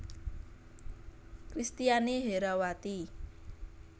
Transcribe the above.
Kristiani Herrawati